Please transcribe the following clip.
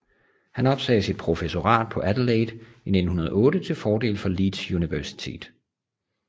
Han opsagde sit professorat på Adelaide i 1908 til fordel for Leeds Universitet